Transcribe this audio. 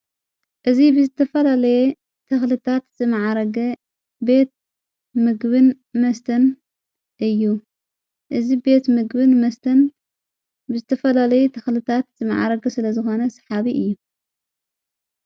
እዝ ብዝተፈለለየ ተኽልታት ዝመዓረግ ቤት ምግብን መስተን እዩ እዝ ቤት ምግብን መስተን ብዝተፈለለይ ተኽልታት ዝመዓረግ ስለ ዝኾነ ስሓቢ እዩ።